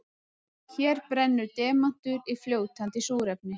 Hér brennur demantur í fljótandi súrefni.